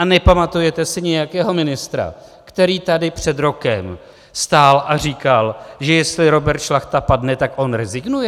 A nepamatujete si nějakého ministra, který tady před rokem stál a říkal, že jestli Robert Šlachta padne, tak on rezignuje?